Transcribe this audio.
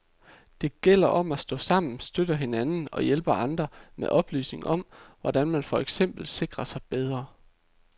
Det gælder om at stå sammen, støtte hinanden og hjælpe andre med oplysninger om, hvordan man for eksempel sikrer sig bedre.